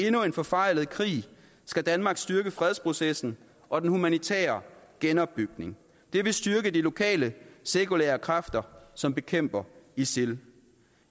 endnu en forfejlet krig skal danmark styrke fredsprocessen og den humanitære genopbygning det vil styrke de lokale sekulære kræfter som bekæmper isil